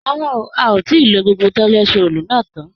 Rárá, a ò tí i lo gbogbo tọ́lẹt roòlù tán